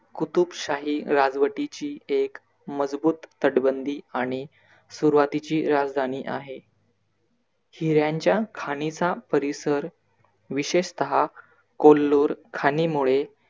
कुतुबशाहीची राजवटीची एक मजबूत तटबंधी आणि सुरवातीची राजधानी आहे. हिर्‍याच्या खाणीचा परिसर विशेषतः कोल्लूर खाणी मुळे